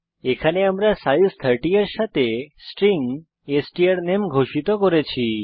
এখানে আমরা সাইজ 30 এর সাথে স্ট্রিং স্ট্রানামে ঘোষিত করছি